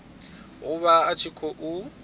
a vha a tshi khou